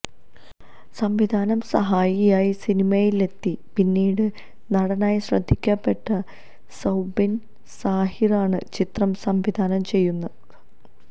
സംവിധാന സഹായിയായി സിനിമയിലെത്തി പിന്നീട് നടനായ ശ്രദ്ധിക്കപ്പെട്ട സൌബിന് സാഹിറാണ് ചിത്രം സംവിധാനം ചെയ്യുന്നത്